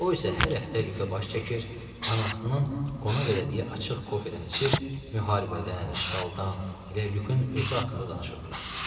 O isə hər həftə Lüka baş çəkir, anasının qonaq elədiyi açıq kofedən içir, müharibədən, işğaldan, elə lükün özü haqqında danışırdılar.